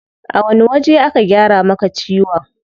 A wani waje aka gyara maka ciwon?